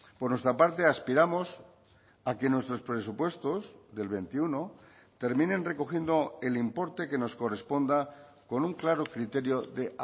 por nuestra parte aspiramos a que nuestros presupuestos del veintiuno terminen recogiendo el importe que nos corresponda con un claro criterio de